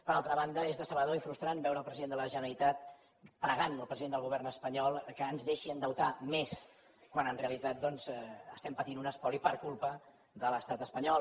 per altra banda és decebedor i frustrant veure el president de la generalitat pregant al president del govern espanyol que ens deixi endeutar més quan en realitat doncs estem patint un espoli per culpa de l’estat espanyol